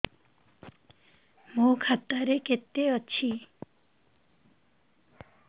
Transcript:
ମୋ ଖାତା ରେ କେତେ ଅଛି